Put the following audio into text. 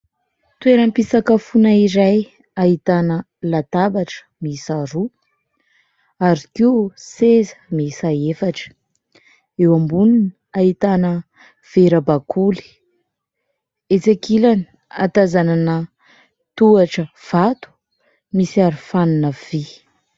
Toeram-pisakafona iray ahitana latabatra miisa roa ary koa seza miisa efatra, eo amboniny ahitana vera bakoly, etsy ankilany ahatazanana tohatra vato misy aro-fanina vy.